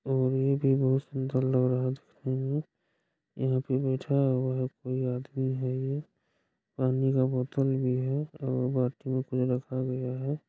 ये भी बहुत सुन्दर लग रहा देखने में यहाँ पे बैठा हुआ है कोई आदमी है ये पानी का बोतल भी है और में कुछ रखा गया है ।